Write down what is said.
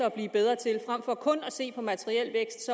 at blive bedre til og frem for kun at se på materiel vækst